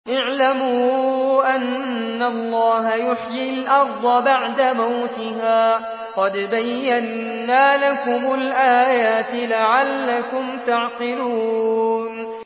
اعْلَمُوا أَنَّ اللَّهَ يُحْيِي الْأَرْضَ بَعْدَ مَوْتِهَا ۚ قَدْ بَيَّنَّا لَكُمُ الْآيَاتِ لَعَلَّكُمْ تَعْقِلُونَ